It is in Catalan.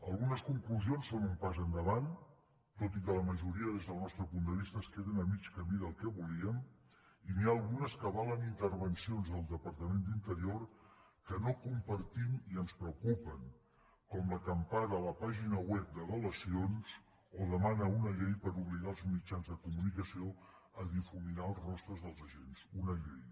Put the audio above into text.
algunes conclusions són un pas endavant tot i que la majoria des del nostre punt de vista es queden a mig camí del que volíem i n’hi ha algunes que avalen intervencions del departament d’interior que no compartim i ens preocupen com la que empara la pàgina web de delacions o demana una llei per obligar els mitjans de comunicació a difuminar els rostres dels agents una llei